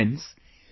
Friends,